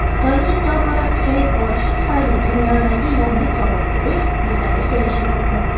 Xitoyning tobora kuchayib borishi tufayli dunyoda yangi "Sovuq urush" yuzaga kelishi mumkin.